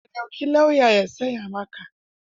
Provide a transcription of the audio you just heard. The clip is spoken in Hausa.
Ka ɗauki lauya ya tsaya maka.